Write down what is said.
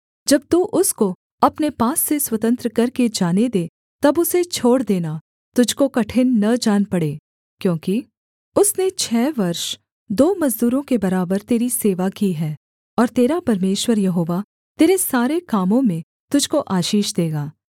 जब तू उसको अपने पास से स्वतंत्र करके जाने दे तब उसे छोड़ देना तुझको कठिन न जान पड़े क्योंकि उसने छः वर्ष दो मजदूरों के बराबर तेरी सेवा की है और तेरा परमेश्वर यहोवा तेरे सारे कामों में तुझको आशीष देगा